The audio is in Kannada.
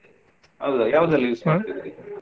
ಹೌದಾ ಯಾವದ್ರಲ್ಲಿ ?